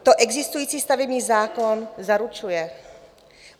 To existující stavební zákon zaručuje.